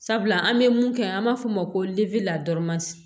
Sabula an bɛ mun kɛ an b'a fɔ o ma ko